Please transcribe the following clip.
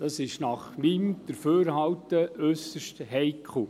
Das ist nach meinem Dafürhalten äusserst heikel.